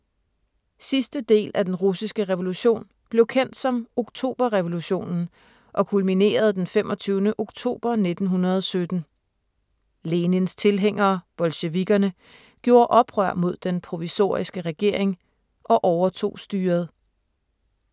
Sidste del af den russiske revolution blev kendt som Oktoberrevolutionen og kulminerede den 25. oktober 1917. Lenins tilhængere, bolsjevikkerne, gjorde oprør mod den provisoriske regering og overtog styret.